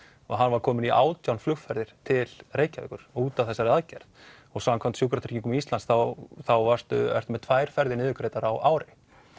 og hann var kominn í átján flugferðir til Reykjavíkur út af þessari aðgerð og samkvæmt Sjúkratryggingum Íslands þá þá ertu ertu með tvær ferðir niðurgreiddar á ári